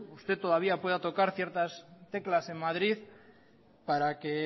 usted todavía pueda tocar ciertas teclas en madrid para que